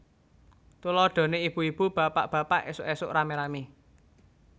Tuladhané ibu ibu bapak bapak ésuk ésuk ramé ramé